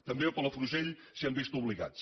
també a palafrugell s’hi han vist obligats